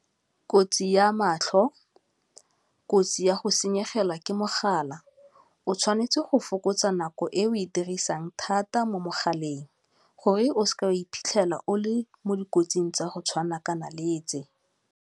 Kotsi ya matlho, kotsi ya go senyegela ke mogala, o tshwanetse go fokotsa nako e o e dirisang thata mo mogaleng gore o seka o iphitlhela o le mo dikotsing tsa go tshwanakana le tse.